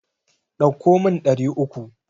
Ɗauko min ɗari uku.